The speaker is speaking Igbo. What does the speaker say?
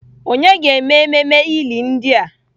Ònye ga-eme ememe ili ndị a?